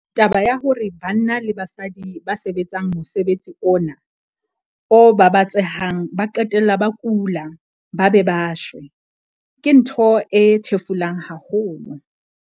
Taba ya hore banna le basadi ba sebetsang mosebetsi ona o babatsehang ba qetella ba kula ba be ba shwe, ke ntho e thefulang haholo.